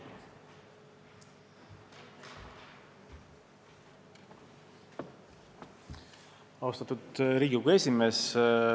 Austatud Riigikogu esimees!